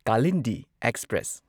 Kalindi express